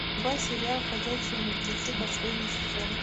врубай сериал ходячие мертвецы последний сезон